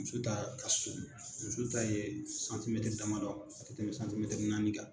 Muso ta ka surun. Muso ta ye damadɔ, tɛmɛ naani ka.